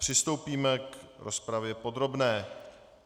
Přistoupíme k rozpravě podrobné.